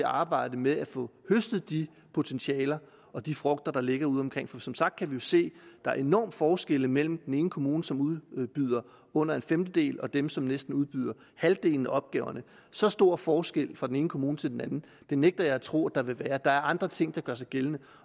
arbejdet med at få høstet de potentialer og de frugter der ligger ude omkring for som sagt kan vi jo se der er enorme forskelle mellem den ene kommune som udbyder under en femtedel og dem som næsten udbyder halvdelen af opgaverne så stor forskel fra den ene kommune til den anden nægter jeg at tro der vil være der er andre ting der gør sig gældende